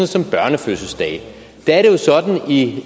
som børnefødselsdage